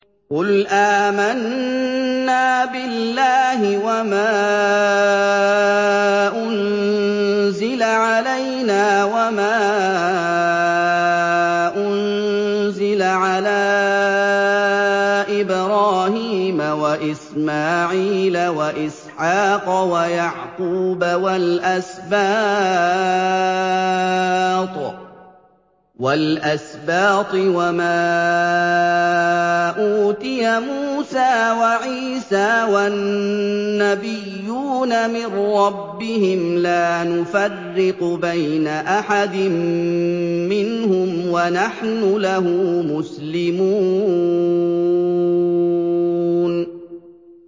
قُلْ آمَنَّا بِاللَّهِ وَمَا أُنزِلَ عَلَيْنَا وَمَا أُنزِلَ عَلَىٰ إِبْرَاهِيمَ وَإِسْمَاعِيلَ وَإِسْحَاقَ وَيَعْقُوبَ وَالْأَسْبَاطِ وَمَا أُوتِيَ مُوسَىٰ وَعِيسَىٰ وَالنَّبِيُّونَ مِن رَّبِّهِمْ لَا نُفَرِّقُ بَيْنَ أَحَدٍ مِّنْهُمْ وَنَحْنُ لَهُ مُسْلِمُونَ